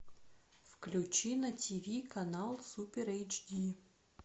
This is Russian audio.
включи на тв канал супер эйч ди